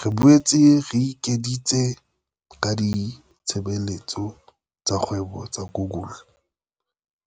"Re boetse re ekeditse ka ditshebeletso tsa kgwebo tsa Google,